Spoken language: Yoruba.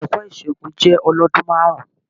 Ẹ̀kọ́ ìṣògùn jẹ́ ọlọ́dún márùn-ún.